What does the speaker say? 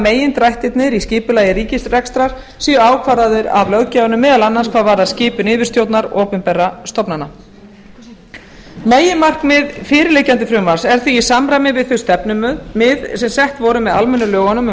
megindrættirnir í skipulagi ríkisrekstrar séu ákvarðaðir af löggjafanum meðal annars hvað varðar skipun yfirstjórnar opinberra stofnana meginmarkmið fyrirliggjandi frumvarps er því í samræmi við þau stefnumið sem sett voru með almennu lögunum um